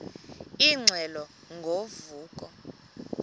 ingxelo ngo vuko